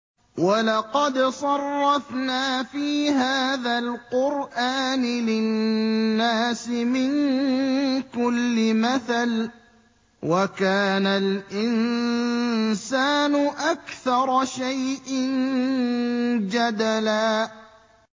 وَلَقَدْ صَرَّفْنَا فِي هَٰذَا الْقُرْآنِ لِلنَّاسِ مِن كُلِّ مَثَلٍ ۚ وَكَانَ الْإِنسَانُ أَكْثَرَ شَيْءٍ جَدَلًا